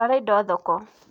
Twara indo thoko.